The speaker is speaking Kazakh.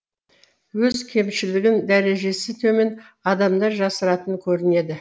өз кемшілігін дәрежесі төмен адамдар жасыратын көрінеді